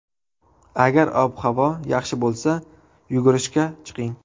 Agar ob-havo yaxshi bo‘lsa, yugurishga chiqing.